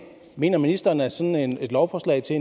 mener ministeren at sådan et lovforslag til